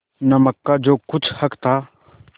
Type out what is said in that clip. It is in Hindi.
नमक का जो कुछ हक था